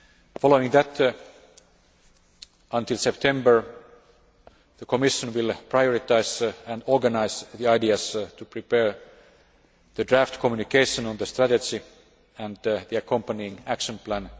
Following that, by September, the Commission will prioritise and organise ideas in order to prepare the draft communication on the strategy and the accompanying action plan.